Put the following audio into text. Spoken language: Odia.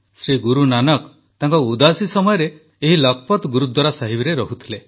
ଶ୍ରୀ ଗୁରୁନାନକ ତାଙ୍କ ଉଦାସୀ ସମୟରେ ଏହି ଲଖପତ୍ ଗୁରୁଦ୍ୱାରା ସାହିବରେ ରହୁଥିଲେ